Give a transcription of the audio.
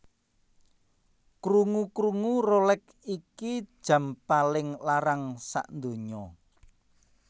Krungu krungu Rolex iki jam paling larang sakdunya